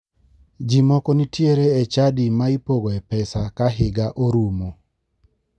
Ji moko nitiere e chadi ma ipogoe pesa ka higa orumo